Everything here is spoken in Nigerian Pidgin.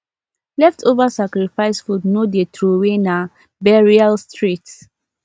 leftover sacrifice food no dey throway na burial straight